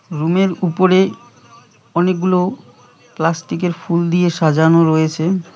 রুমের উপরে অনেকগুলো প্লাস্টিকের ফুল দিয়ে সাজানো রয়েছে।